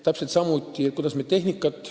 Täpselt samuti me jagame tehnikat.